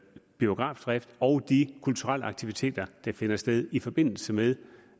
biografdrift og de kulturelle aktiviteter der finder sted i forbindelse med